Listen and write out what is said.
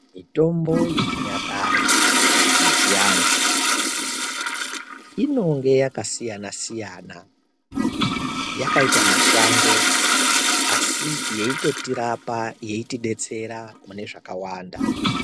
Mitombo yechinyakare yechiantu inenge yakasiyana siyana yakaita mashango asi yeitotirapa yeitidetsera mune zvakawanda.